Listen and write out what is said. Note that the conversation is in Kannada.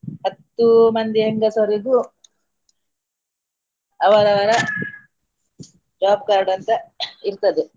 ಹತ್ತು ಮಂದಿ ಹೆಂಗಸರಿಗೂ ಅವರವರ job card ಅಂತ ಇರ್ತದೆ.